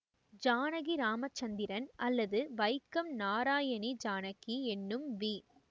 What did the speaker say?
ஜானகி இராமச்சந்திரன் அல்லது வைக்கம் நாராயணி ஜானகி என்னும் வி